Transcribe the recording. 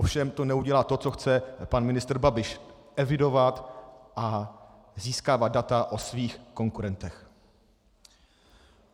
Ovšem to neudělá to, co chce pan ministr Babiš - evidovat a získávat data o svých konkurentech.